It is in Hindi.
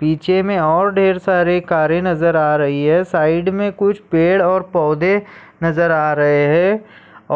पीछे में और ढेर सारी कारे नजर आ रही है यहाँ पर कुछ पेड और पौधे नजर आ रहे है